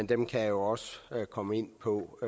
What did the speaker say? dem kan jeg jo også komme ind på